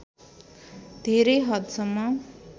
धेरै हद सम्म